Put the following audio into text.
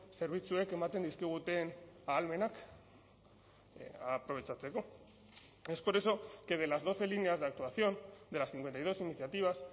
zerbitzuek ematen dizkigute ahalmenak aprobetxatzeko es por eso que de las doce líneas de actuación de las cincuenta y dos iniciativas